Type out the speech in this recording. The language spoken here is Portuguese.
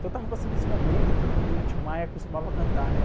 Então estava passando esse momento que o Tim Maia costumava cantar, né?